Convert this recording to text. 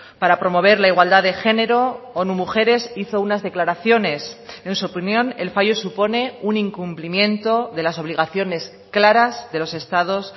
para promover la igualdad de género onu mujeres hizo unas declaraciones en su opinión el fallo supone un incumplimiento de las obligaciones claras de los estados